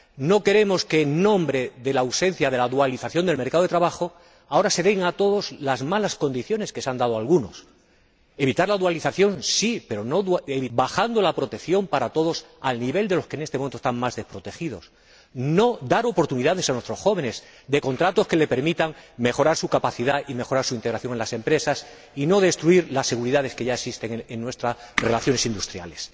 No queremos que, en nombre de la ausencia de la dualización del mercado de trabajo, se den ahora a todos las malas condiciones que se han dado a algunos. Evitar la dualización, sí, pero no bajando la protección para todos hasta el nivel de los que en este momento están más desprotegidos. Hay que dar oportunidades a nuestros jóvenes con contratos que les permitan mejorar su capacidad y su integración en las empresas, y no destruir las seguridades que ya existen en nuestras relaciones industriales.